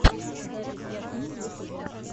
запись ясмин в ютубе